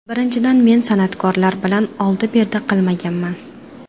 Birinchidan, men san’atkorlar bilan oldi-berdi qilmaganman.